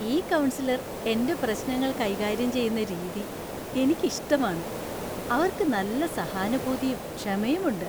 ഈ കൗൺസലർ എന്‍റെ പ്രശ്നങ്ങൾ കൈകാര്യം ചെയ്യുന്ന രീതി എനിക്കി ഇഷ്ടമാണ് . അവർക്ക് നല്ല സഹാനുഭൂതിയും ക്ഷമയും ഉണ്ട്.